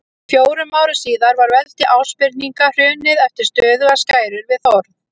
Fjórum árum síðar var veldi Ásbirninga hrunið eftir stöðugar skærur við Þórð.